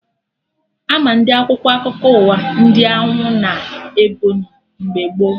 Ama ndị Akwụkwọ akụkọ ụwa ndị Anwụ na Ebọnyị mgbe gboo